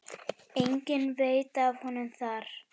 Enginn veit af honum þar.